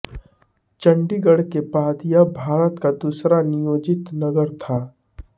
चंडीगढ़ के बाद यह भारत का दूसरा नियोजित नगर था